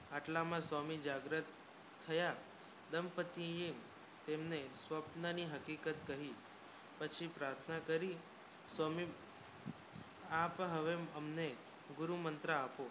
આટલા મા સ્વામી જાગ્રત થાયા દાંપતીએ તેમને સ્વપ્ન ની હકીકત કહી પચી પ્રાથના કરી સ્વામી આપ હાવે હમને ગુરુ મંત્ર આપો